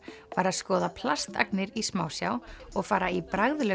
var að skoða plastagnir í smásjá og fara í